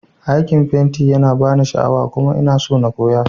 Aikin fenti yana bani sha'awa kuma ina so na koya.